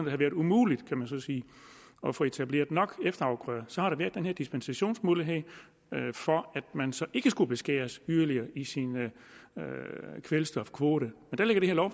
har været umuligt kan man så sige at få etableret nok efterafgrøder så har der været den her dispensationsmulighed for at man så ikke skulle beskæres yderligere i sin kvælstofkvote der lægger